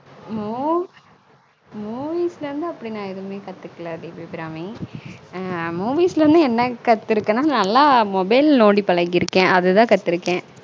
மூ Movie லா இருந்து அப்பிடி நா எதுமே கத்தூகல தேவி அபிராமி ஆஹ் movies ல இருந்து என்ன கத்துருக்கேன நல்லா mobile நோண்டி பழகிருக்கன் அது தான் கத்துருகன்